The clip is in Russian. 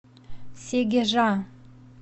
сегежа